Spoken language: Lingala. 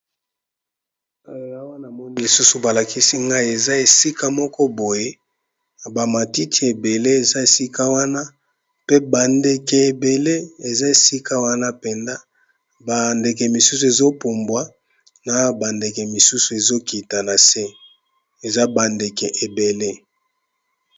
Awa namoni lisusu ba lakisi ngai eza esika moko boye ba matiti ebele eza esika wana pe ba ndeke ebele eza esika wana penza ba ndeke misusu ezo pumbwa na ba ndeke misusu ezokita na se, eza ba ndeke ebele.